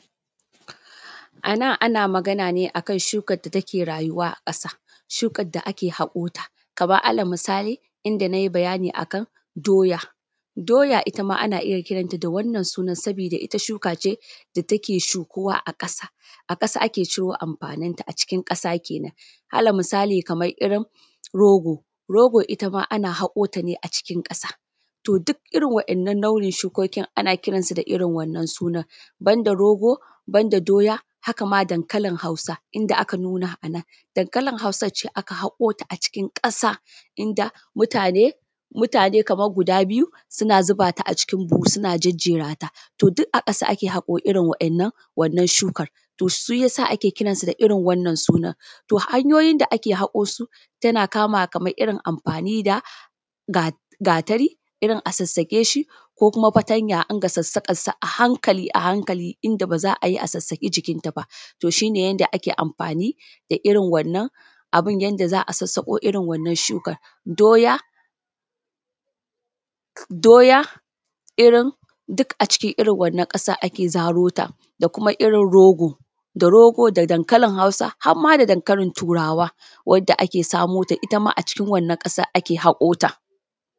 Anan ana magana ne akan shukar da take raayuwa a ƙasa, shukar da ake haƙoota kamar alalmisali inda nayi bayani akan dooya, dooya itama ana iya kiranta da wannan sunan sabida ita shuka ce da take shukuwa a ƙasa, a ƙasa ake ciro amfanin ta acikin ƙasa kenan, alal misali kamar irin rogo, rogo itama ana haƙoota ne acikin ƙasa to duk irin wa’innan launin shukookin ana kiransu da irin wannan sunan, banda rogo, banda dooya haka ma dankalin hausa inda aka nuuna anan. Dankalin hausa ce aka haƙoota acikin ƙasa inda mutaane, mutaane kamar guda biyu suna zubata acikin buhu suna jejjera ta, to duk a ƙasa ake haƙo irin waɗannan shukar to shiyasa ake kiransu da irin wannan sunar. To hanyoyin da ake haƙoo su tana kamawa kamar irin amfaani da gatari irin a sassaƙe shi ko kuma fatanya a rinƙa sassaƙansa a hankali a hankali inda baa za a yi a sassaƙi jikinta baa to shi ne yanda ake amfaani da irin wannan abin yanda za a sassaƙo irin wannan shukar dooya, dooya irin duk acikin irin wannan ƙasar ake zarota da kuma irin rogo, da rogo da dankalin hausa har ma da dankalin turawa wadda ake samo ta itama acikin wannan ƙasar ake haƙoota.